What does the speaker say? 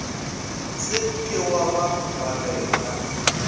se ke wa ba balela